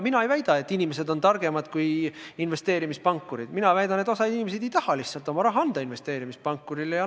Mina ei väida, et inimesed on targemad kui investeerimispankurid, mina väidan seda, et osa inimesi lihtsalt ei taha oma raha investeerimispankurile anda.